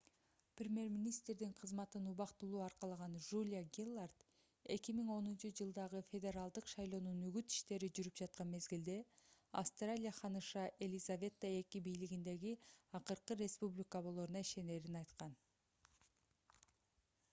премьер-министрдин кызматын убактылуу аркалаган жулия гиллард 2010-жылдагы федералдык шайлоонун үгүт иштери жүрүп жаткан мезгилде австралия ханыша елизавета ii бийлигиндеги акыркы республика болоруна ишенерин айткан